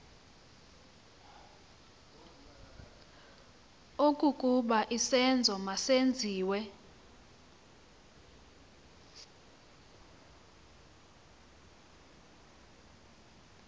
okokuba isenzo masenziwe